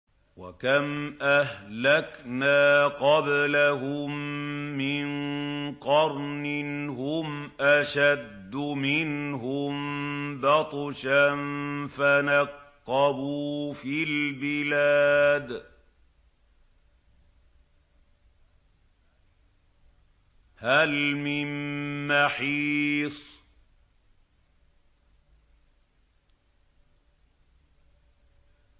وَكَمْ أَهْلَكْنَا قَبْلَهُم مِّن قَرْنٍ هُمْ أَشَدُّ مِنْهُم بَطْشًا فَنَقَّبُوا فِي الْبِلَادِ هَلْ مِن مَّحِيصٍ